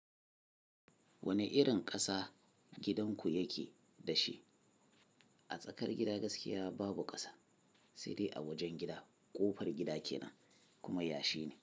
Wane irin ƙasa gidanku yake da shi? A tsakar gida gaskiya babu ƙasa, sai dai a wajen gida. Ƙofar gida kenan kuma yashi ne.